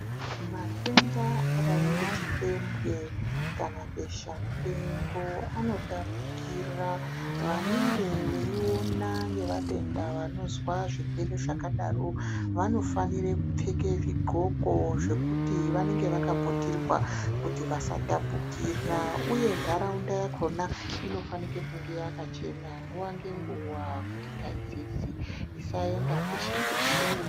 Matenda akadai ngechipembwe kana besha mupengo anotapukira vanenge veiona ngevatenda vanozwa zvirwere zvakadaro vanofanire kupfeke zvigxoko zvekuti vanenge vakaputirwa kuti vasatapukira uye ntaraunda yakhona inofanika kunge yakachena nguwa ngenguwa kuti taizezi isaenda peshe peshe.